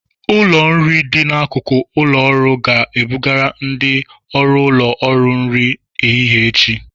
Ụlọ nri dị n'akụkụ ụlọ ọrụ ga-ebugara ndị ọrụ ụlọ ọrụ nri ehihie echi